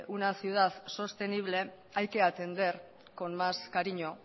una ciudad sostenible hay que atender con más cariño